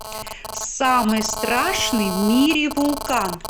самый страшный в мире вулкан